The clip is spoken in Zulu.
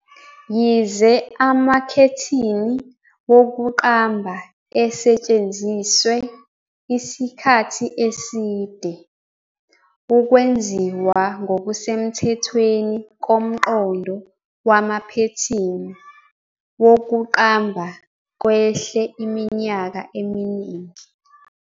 Yize amakhethini wokuqamba esetshenziswe isikhathi eside, ukwenziwa ngokusemthethweni komqondo wamaphethini wokuqamba kwehle iminyaka eminingi.